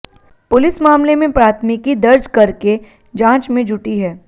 police मामले में प्राथमिकी दर्ज कर के जांच में जुटी है